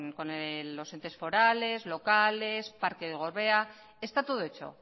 con los entes forales locales parque del gorbea está todo hecho